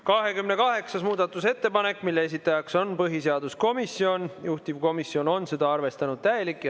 28. muudatusettepanek, mille esitajaks on põhiseaduskomisjon, juhtivkomisjon on seda arvestanud täielikult.